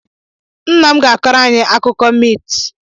Nna m ga-akọrọ anyị akụkọ miit.